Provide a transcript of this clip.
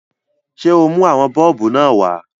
Ṣé o mú àwọn bọ́ọ̀bù náà wá?